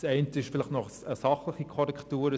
Das Eine ist vielleicht noch eine sachliche Korrektur: